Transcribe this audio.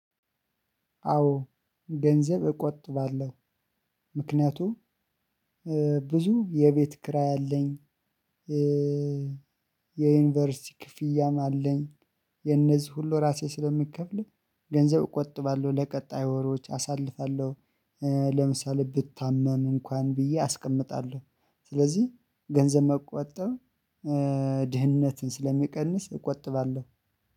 አዎ ገንዘብ እቆጥባለሁ። ምክንያቱም ብዙ የቤት ክራይ አለኝ። የዩኒቨርሲቲ ክፍያም አለኝ። የነዚህ ሁሉ ራሴ ስለምከፍል ገንዘብ እቆጥባለሁ ለቀጣዩ ወሮች አሳልፋለሁ። ለምሳሌ ብታመም እንኳን ብዬ አስቀምጣለሁ። ስለዚህ ገንዘብ መቆጠብ ድህነትን ስለሚቀንስ እቆጥባለሁ።